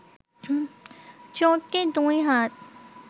চোরটির দুই হাত